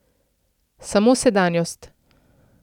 Samo sedanjost.